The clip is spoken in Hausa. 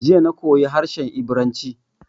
Jiya na koyi harshe Ibiranci.